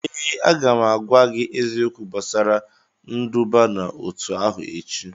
ee, a ga m agwa gị eziokwu gbasara nduba n'otu ahụ echi